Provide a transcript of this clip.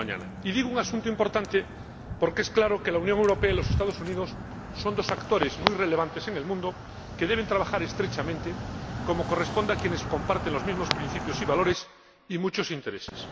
Y digo un asunto importante porque está claro que la Unión Europea y los Estados Unidos son dos actores muy relevantes en el mundo, que deben trabajar estrechamente, como corresponde a quienes comparten los mismos principios y valores, y muchos intereses.